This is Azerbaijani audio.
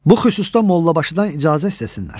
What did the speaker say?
Bu xüsusda mollabaşıdan icazə istəsinlər.